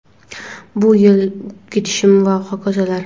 bu yil ketishim va hokazolar.